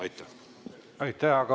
Aitäh!